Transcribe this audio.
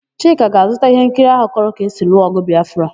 Chika ga-azụta íhénkiri áhụ̀ kọrọ ka esi lụọ ọ̀gụ̀ Bịafra.